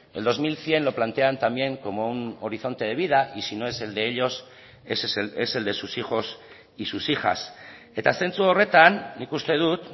el dos mil cien lo plantean también como un horizonte de vida y si no es el de ellos es el de sus hijos y sus hijas eta zentzu horretan nik uste dut